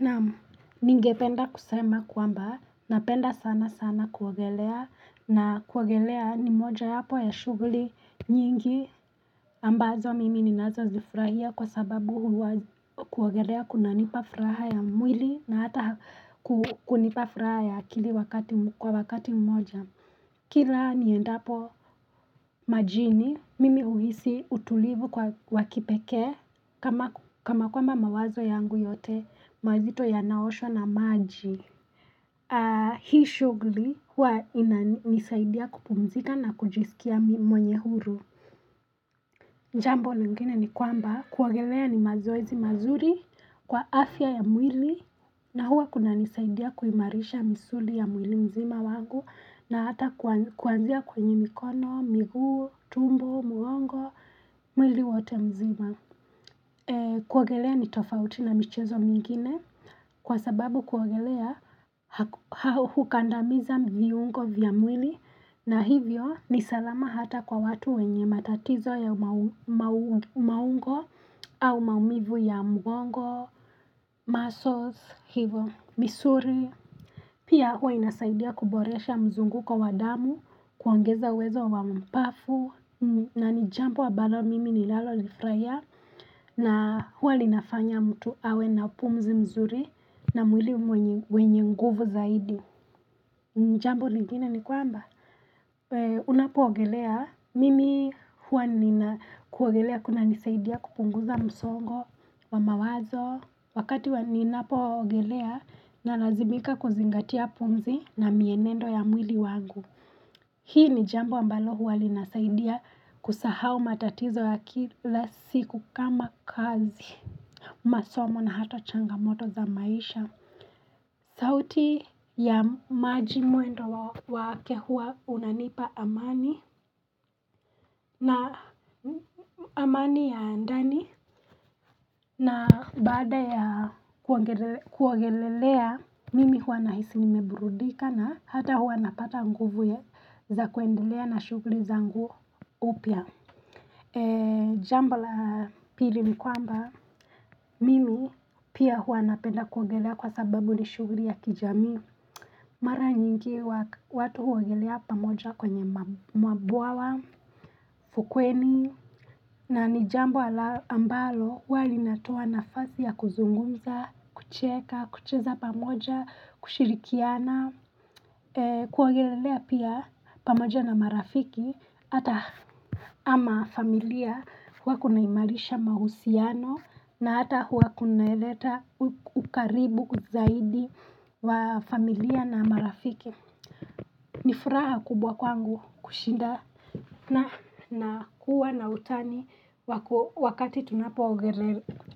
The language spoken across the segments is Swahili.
Naam ningependa kusema kwamba napenda sana sana kuogelea na kuogelea ni mojawapo ya shughuli nyingi ambazo mimi ninazo zifurahia kwa sababu kuwagelea kuna nipafuraha ya mwili na hata kunipafuraha ya akili kwa wakati mmoja Kila niendapo majini, mimi uhisi utulivu kwa wakipeke, kama kwamba mawazo yangu yote, mazito yanaoshwa na maji. Hii shughuli huwa inanisaidia kupumzika na kujisikia mwenye huru. Jambo lingine ni kwamba kuogelea ni mazoezi mazuri kwa afya ya mwili na huwa kuna nisaidia kuimarisha msuli ya mwili mzima wangu na hata kuanzia kwenye mikono, migu, tumbo, mulongo, mwili wote mzima. Kuagelea ni tofauti na michezo mingine Kwa sababu kuagelea hukandamiza mviungo vya mwini na hivyo ni salama hata kwa watu wenye matatizo ya maungo au maumivu ya mgongo, muscles, misuri Pia huwa inasaidia kuboresha mzungu kwa wadamu kuangeza wezo wa mpafu na nijampu wa balo mimi ni lalo nifraya na huwa linafanya mtu awe na pumzi mzuri na mwili wenye nguvu zaidi Mjambu lingina ni kwamba? Unapo ogelea? Mimi huwa nina kuogelea kuna nisaidia kupunguza msongo wa mawazo Wakati wanina po ogelea na lazimika kuzingatia pumzi na mienendo ya mwili wangu Hii ni jambo ambalo huwa linasaidia kusahao matatizo ya kila siku kama kazi masomo na hata changamoto za maisha sauti ya maji muendo wa kehuwa unanipa amani na amani ya andani na baada ya kuangelelea mimi huwa na hisi nimebrudika na hata huwa napata nguvu ya za kuendelea na shuguli za ngu upia E jambo la pili ni kwamba milu pia huanapenda kuongelea kwa sababu ni shuguri ya kijami Mara nyingi watu huongelea pamoja kwenye mwabuawa, fukweni na ni jambo ala ambalo wali natuwa na fazia kuzungunza, kucheka, kucheza pamoja, kushirikiana kuogelelea pia pamaja na marafiki ata ama familia kwa kunaimarisha mahusiano na ata hua kunaeleta ukaribu kuzahidi wa familia na marafiki nifuraha kubwa kwangu kushinda na hua na utani wakati tunapua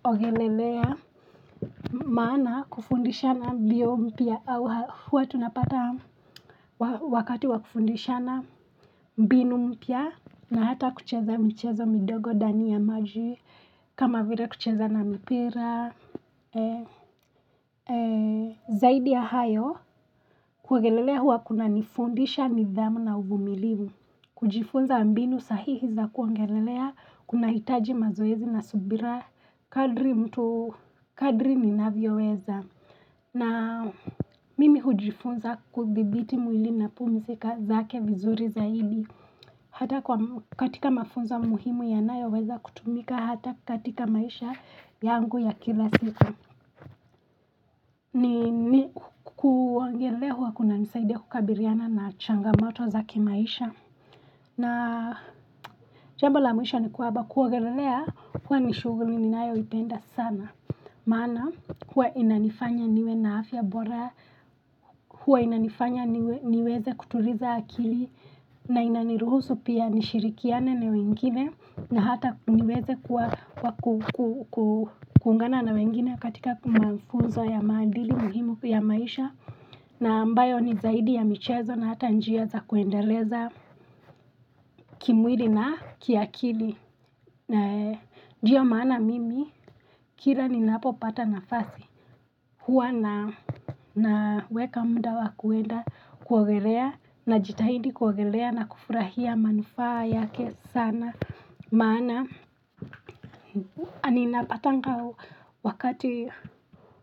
ogelelea maana kufundisha na biompia hua tunapata wakati wakufundisha na mbinu mpya na hata kucheza mchezo midogo dani ya maju kama vile kucheza na mpira zaidi ya hayo kugelelea hua kuna nifundisha nizamu na ubumiliu kujifunza mbinu sahihi za kugelelea kuna hitaji mazoezi na subira kadri mtu kadri ni navio weza na mimi hujifunza kubibiti mwili na pumifika zake vizuri za hili hata katika mafunza muhimu ya nayo weza kutumika hata katika maisha yangu ya kila siku ni kuangele hua kuna nisaide kukabiliana na changa mato zake maisha na jambu la muisha ni kuaba kuangelelea hua nishuguli ni nayo ipenda sana, mana hua inanifanya niwe na afya bora hua inanifanya niweze kuturiza akili na inaniruhusu pia nishirikiane na wengine, na hata kumiweze kuangana na wengine katika kumakunzo ya maandili muhimu ya maisha na ambayo ni zaidi ya michezo na hata njia za kuendeleza kimwili na kiakili nae, njia maana mimi, kila ni napo pata nafasi huwa na, na weka mdawa kuenda kuogelea na jitahidi kuogelea na kufurahia manufaa yake sana mana anina patangaw wakadir.